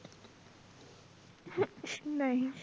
ਨਹੀਂ